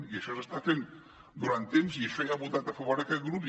i això s’està fent durant temps i a això ja hi ha votat a favor aquest grup